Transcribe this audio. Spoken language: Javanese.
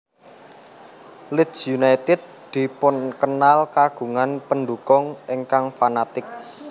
Leeds United dipunkenal kagungan pendukung ingkang fanatik